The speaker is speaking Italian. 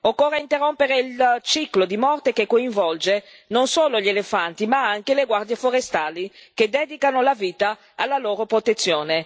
Occorre interrompere il ciclo di morte che coinvolge non solo gli elefanti ma anche le guardie forestali che dedicano la vita alla loro protezione.